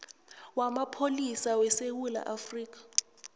wamapholisa wesewula afrika